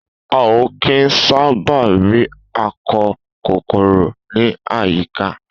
A o kín sábà ri akọ kòkòrò ni àyíká.